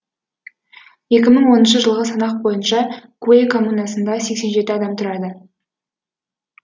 екі мың оныншы жылғы санақ бойынша куэй коммунасында сексен жеті адам тұрады